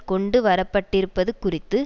கொண்டு வரப்பட்டிருப்பது குறித்து